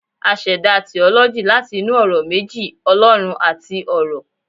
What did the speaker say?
a seda 'theology' lati inú ọrọ meji 'olorun'ati 'oro'